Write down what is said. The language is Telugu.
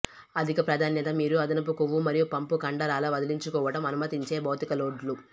అధిక ప్రాధాన్యత మీరు అదనపు కొవ్వు మరియు పంపు కండరాల వదిలించుకోవటం అనుమతించే భౌతిక లోడ్లు